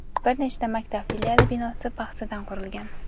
bir nechta maktab filiali binosi paxsadan qurilgan.